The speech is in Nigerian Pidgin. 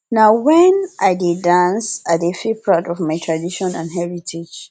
na wen i dey dance i dey feel proud of my tradition and heritage